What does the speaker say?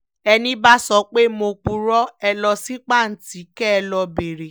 ẹní bá sọ pé mo purọ́ ẹ̀ lọ sí pàǹtí kẹ́ ẹ lọ́ọ́ béèrè